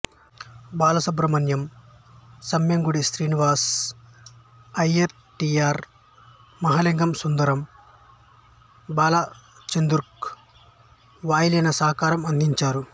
Balasubrahmanyam Semmangudi Srinivasa Iyer T R Mahalingam Sundaram బాలచందర్కు వాయులీన సహకారం అందించారు